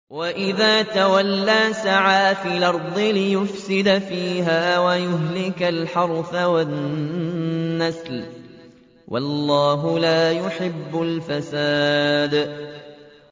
وَإِذَا تَوَلَّىٰ سَعَىٰ فِي الْأَرْضِ لِيُفْسِدَ فِيهَا وَيُهْلِكَ الْحَرْثَ وَالنَّسْلَ ۗ وَاللَّهُ لَا يُحِبُّ الْفَسَادَ